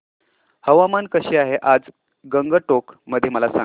हवामान कसे आहे आज गंगटोक मध्ये मला सांगा